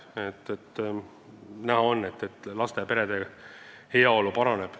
Näha on, et laste ja perede heaolu paraneb.